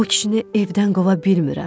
O kişini evdən qova bilmirəm.